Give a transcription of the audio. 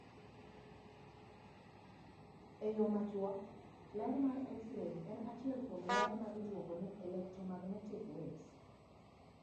E yo machuok: ler mar X ray en achiel kuom ler ma iluongo ni electromagnetic waves